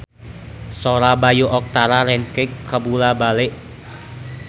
Sora Bayu Octara rancage kabula-bale